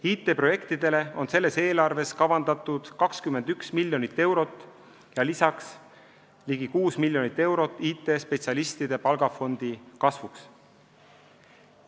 IT-projektide jaoks on selles eelarves kavandatud 21 miljonit eurot ja lisaks ligi 6 miljonit eurot IT-spetsialistide palgafondi kasvuks.